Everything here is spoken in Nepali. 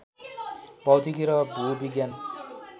भौतिकी र भूविज्ञान